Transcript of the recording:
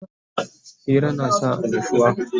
Hira yana sa annushuwa